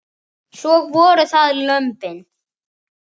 Og svo voru það lömbin.